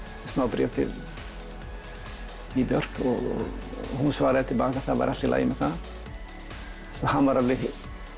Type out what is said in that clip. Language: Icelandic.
bréf til Bjarkar og hún svaraði að það væri allt í lagi með það svo hann var alveg